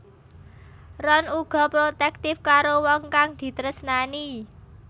Ron uga protektif karo wong kang ditresnani